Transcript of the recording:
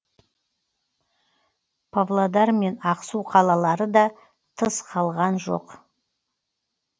павлодар мен ақсу қалалары да тыс қалған жоқ